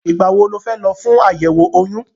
Ìgbà wo ni o fẹ́ lọ fún àyẹ̀wò oyún?